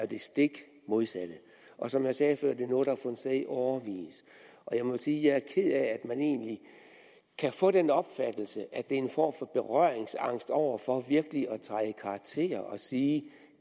det stik modsatte og som jeg sagde før er det noget der har fundet sted i årevis jeg må sige at ked af at man egentlig kan få den opfattelse at er en form for berøringsangst over for virkelig at træde i karakter og sige